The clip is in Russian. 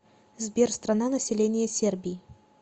сбер страна население сербии